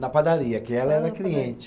Na padaria, que ela era cliente.